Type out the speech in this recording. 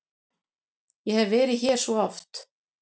Ég hef verið hér svo oft.